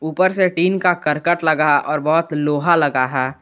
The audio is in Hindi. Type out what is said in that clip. ऊपर से डिन का करकट लगा है और बहोत लोहा लगा है।